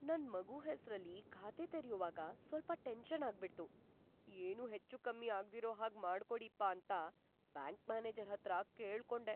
ನನ್‌ ಮಗು ಹೆಸ್ರಲ್ಲಿ ಖಾತೆ ತೆರ್ಯುವಾಗ ಸ್ವಲ್ಪ ಟೆನ್ಷನ್ ಆಗ್ಬಿಡ್ತು‌, ಏನೂ ಹೆಚ್ಚೂಕಮ್ಮಿ ಆಗ್ದಿರೋ ಹಾಗ್ ಮಾಡ್ಕೊಡೀಪ್ಪ ಅಂತ ಬ್ಯಾಂಕ್‌ ಮ್ಯಾನೇಜರ್‌ ಹತ್ರ ಕೇಳ್ಕೊಂಡೆ.